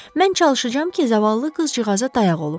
Mən çalışacağam ki, zavallı qızcığaza dayaq olum.